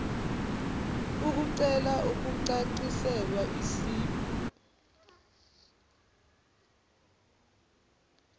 ukucela ukucaciselwa isib